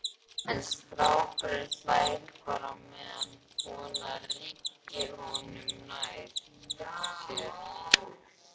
En strákurinn hlær bara meðan konan rykkir honum nær sér.